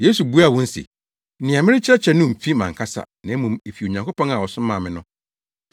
Yesu buaa wɔn se, “Nea merekyerɛ no mfi mʼankasa, na mmom efi Onyankopɔn a ɔsomaa me no.